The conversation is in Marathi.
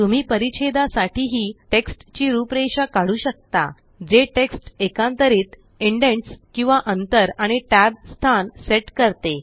तुम्ही परिच्छेदा साठी हि टेक्स्ट ची रूपरेषा काढू शकता जे टेक्स्ट एकांतरित इंडेनट्स किंवा अंतर आणि tab स्थान सेट करते